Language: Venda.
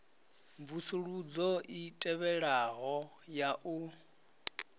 mvusuludzo i tevhelaho ya u